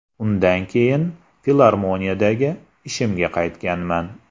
Undan keyin filarmoniyadagi ishimga qaytganman.